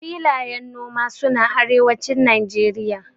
filayen noma suna arewacin nageria